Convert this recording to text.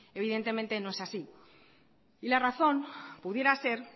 evidentemente no es así y la razón pudiera ser